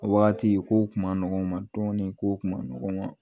O waati kow kun ma nɔgɔn kow kun ma nɔgɔn